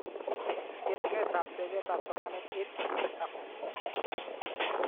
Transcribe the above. Yetunetab teketab somanet eng EdTech Hub